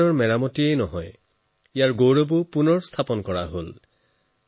কেৱল মেৰামতি কৰাই নহয় এই গুৰুদ্বাৰৰ বৈভৱ আৰু পূৰ্ব গৌৰৱকো ঘূৰাই অনা হৈছে